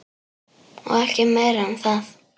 Og ekki meira um það.